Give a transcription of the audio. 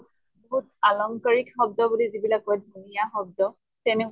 পাৰম্পৰিক শব্দ বুলি যিবিলাক কয়, ধুনীয়া শব্দ । তেনে